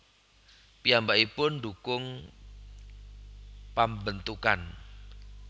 Piyambakipun ndhukung pambentukan